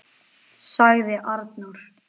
., sagði Arnór.